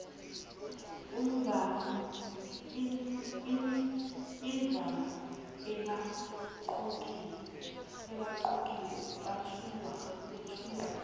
imvama abaqokiwe bethulwa